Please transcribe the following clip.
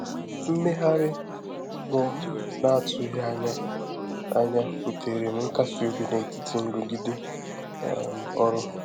Mmegharị mmụọ n’atụghị anya anya butèrè m nkasi obi n’etiti nrụgide um ọrụ.